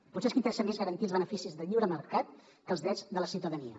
potser és que interessa més garantir els beneficis del lliure mercat que els drets de la ciutadania